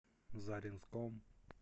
заринском